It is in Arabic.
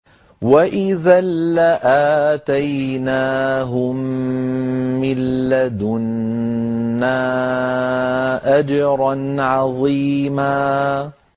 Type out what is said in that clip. وَإِذًا لَّآتَيْنَاهُم مِّن لَّدُنَّا أَجْرًا عَظِيمًا